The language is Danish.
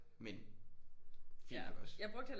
Men fint nok også